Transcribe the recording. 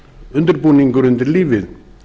undirbúningur undir lífið